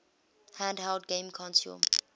handheld game console